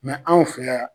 anw fɛ yan